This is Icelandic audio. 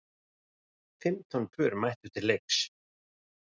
Fimmtán pör mættu til leiks.